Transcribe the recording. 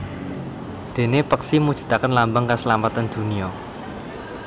Déné peksi mujudaken lambang kaslametan dunya